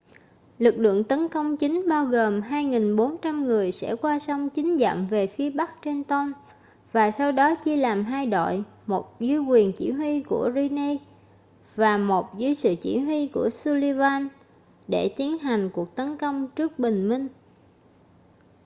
lực lượng tấn công chính bao gồm 2.400 người sẽ qua sông chín dặm về phía bắc trenton và sau đó chia làm hai đội một dưới quyền chỉ huy của greene và một dưới sự chỉ huy của sullivan để tiến hành cuộc tấn công trước bình minh